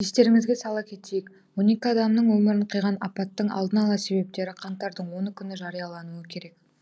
естеріңізге сала кетейік он екі адамның өмірін қиған апаттың алдын ала себептері қаңтардың оны күні жариялануы керек